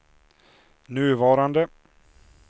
nuvarande